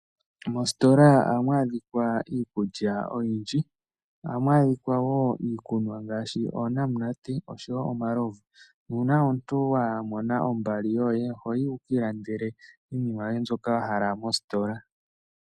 Moositola ohamu adhika iikulya oyindji. Ohamu adhikwa wo iikunwa ngaashi oonamunate noshowo omalovu. Nuuna omuntu wa mona ombali yoye ohoyi wuki ilandele iinima yoye mbyoka wahala mositola.